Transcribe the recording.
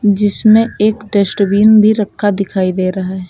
जिसमें एक डस्टबिन भी रखा दिखाई दे रहा है।